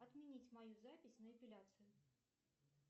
отменить мою запись на эпиляцию